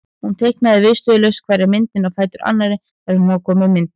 Hún teiknaði viðstöðulaust hverja myndina á fætur annarri þar til hún var komin með myndaröð.